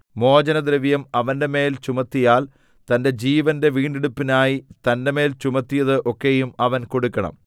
മോചനദ്രവ്യം അവന്റെമേൽ ചുമത്തിയാൽ തന്റെ ജീവന്റെ വീണ്ടെടുപ്പിനായി തന്റെമേൽ ചുമത്തിയതു ഒക്കെയും അവൻ കൊടുക്കണം